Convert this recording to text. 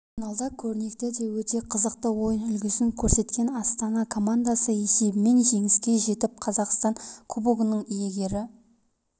финалда өрнекті де өте қызықты ойын үлгісін көрсеткен астана командасы есебімен жеңіске жетіп қазақстан кубогының иегері